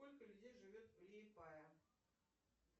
сколько людей живет в ли пая